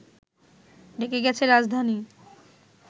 ডেকে গেছে রাজধানী